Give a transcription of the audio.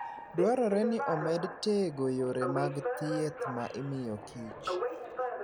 Dwarore ni omed tego yore mag thieth ma imiyo kich.